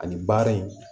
Ani baara in